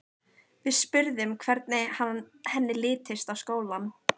Við spurðum hvernig henni litist á skólann.